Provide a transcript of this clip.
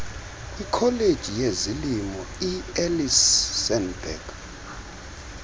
kwikholeji yezolimo ielsenburg